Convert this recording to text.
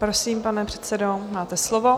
Prosím, pane předsedo, máte slovo.